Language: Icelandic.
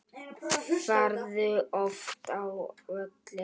Ferðu oft á völlinn?